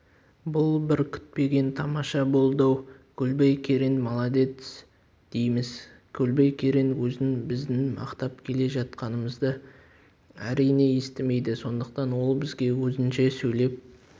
бұл бір күтпеген тамаша болды-ау көлбай керең молодец дейміз көлбай керең өзін біздің мақтап келе жатқанымызды әрине естімейді сондықтан ол бізге өзінше сөйлеп